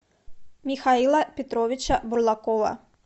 михаила петровича бурлакова